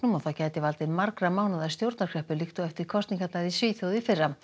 og það gæti valdið margra mánaða stjórnarkreppu líkt og eftir kosningarnar í Svíþjóð í fyrra